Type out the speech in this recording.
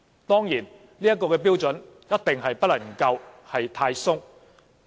當然，這個標準一定不能夠太寬鬆。